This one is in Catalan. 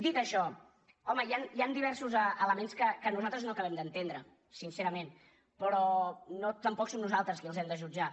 dit això home hi han diversos elements que nosaltres no acabem d’entendre sincerament però tampoc som nosaltres qui els hem de jutjar